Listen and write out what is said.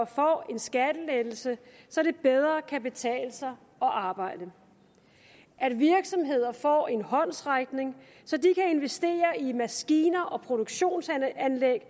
får en skattelettelse så det bedre kan betale sig at arbejde at virksomheder får en håndsrækning så de kan investere i maskiner og produktionsanlæg